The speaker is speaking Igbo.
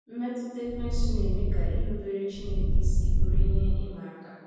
Mmetụta Ekwensu na-eme ka irubere Chineke isi bụrụ ihe ịma aka